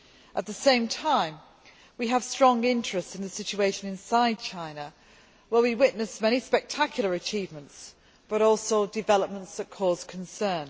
At the same time, we have strong interests in the situation inside China, where we witness many spectacular achievements but also developments that cause concern.